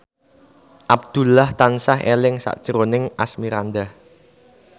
Abdullah tansah eling sakjroning Asmirandah